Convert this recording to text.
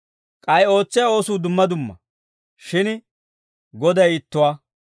K'ay ootsiyaa oosuu dumma dumma; shin Goday ittuwaa.